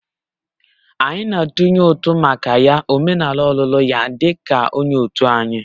Anyị na-atụnye ụtụ maka ya omenala ọlụlụ ya di ka onye òtù anyị